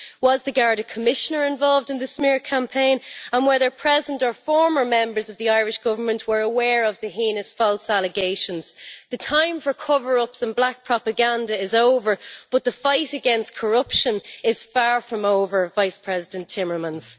Was the Garda Commissioner involved in the smear campaign and were there present or former members of the Irish Government who were aware of the heinous false allegations? The time for cover ups and black propaganda is over, but the fight against corruption is far from over, Vice President Timmermans.